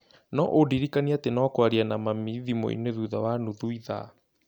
No ũndirikanie atĩ no kwaria na mami thimũ-inĩ thutha wa nuthu ithaa.